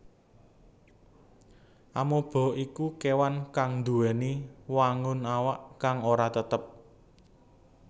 Amoeba iku kéwan kang nduwèni wangun awak kang ora tetep